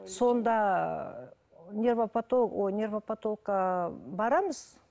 сонда ой барамыз